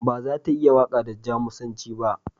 Ba za ta iya waƙa da Jamusanci ba.